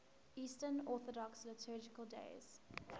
eastern orthodox liturgical days